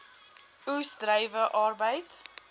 oes druiwe arbeid